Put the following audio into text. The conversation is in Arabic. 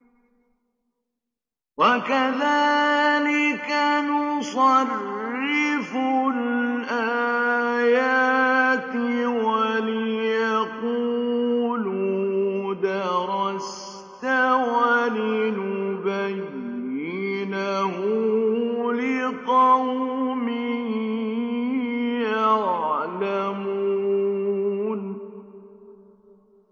وَكَذَٰلِكَ نُصَرِّفُ الْآيَاتِ وَلِيَقُولُوا دَرَسْتَ وَلِنُبَيِّنَهُ لِقَوْمٍ يَعْلَمُونَ